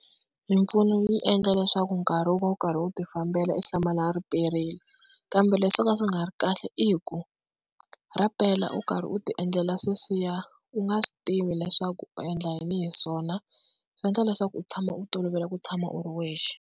Mimpfuno yi endla leswaku nkarhi wu va wu karhi wu ti fambela i hlamala riperile. Kambe leswi swo ka swi nga ri kahle i ku ra pela u karhi u ti endlela sweswiya u nga swi tivi leswaku u endla yini hi swona, swi endla leswaku u tshama u tolovela ku tshama u ri wexe.